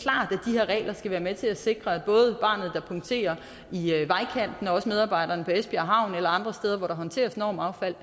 her regler skal være med til at sikre at både barnet der punkterer i vejkanten og medarbejdere på esbjerg havn eller andre steder hvor der håndteres normaffald